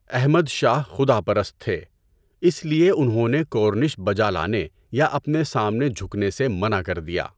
احمد شاہ خدا پرست تھے اس لٸے انہوں نے کورنش بجا لانے یا اپنے سامنے جھکنے سے منع کر دیا۔